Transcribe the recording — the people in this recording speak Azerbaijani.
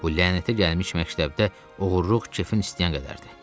Bu lənətə gəlmiş məktəbdə oğurluq kefin istəyən qədərdir.